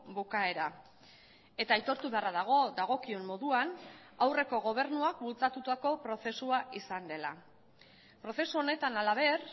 bukaera eta aitortu beharra dago dagokion moduan aurreko gobernuak bultzatutako prozesua izan dela prozesu honetan halaber